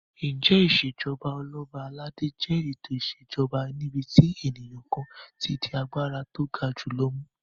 Ǹjẹ́ Ìṣèjọba Ọlọ́ba aládé jẹ́ ètò ìṣèjoba níbi tí ènìyàn kan ti di agbára tó ga jù lọ mú?